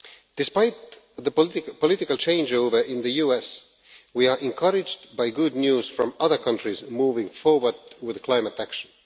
Despite the political changeover in the US, we are encouraged by good news from other countries moving forward on climate action.